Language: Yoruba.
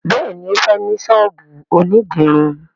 béèni o fè ní sọ́ọ̀bù òní dirun.